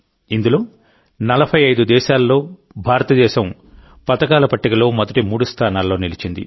ఇందులో 45 దేశాల్లో భారతదేశం పతకాల పట్టికలో మొదటి మూడు స్థానాల్లో నిలిచింది